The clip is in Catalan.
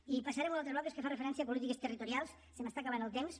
i passaré a un altre bloc que fa referència a polítiques territorials se m’està acabant el temps